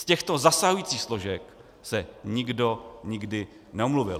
Z těchto zasahujících složek se nikdo nikdy neomluvil.